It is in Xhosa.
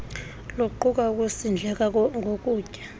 luquka ukusindleka ngokutya